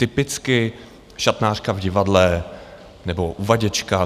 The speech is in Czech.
Typicky šatnářka v divadle nebo uvaděčka.